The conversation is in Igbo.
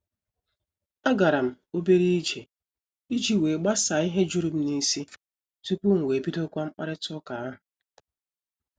A garam obere ije iji wee gbasaa ihe jụrụ m n'isi tupu m wee bidokwa mkparita ụka ahụ.